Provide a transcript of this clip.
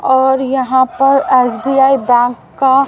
और यहाँ पर एस_बी_आई बैंक का--